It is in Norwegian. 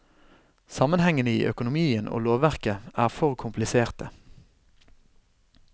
Sammenhengene i økonomien og lovverket er for kompliserte.